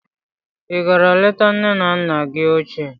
Ị gara leta nne na nna gị ochie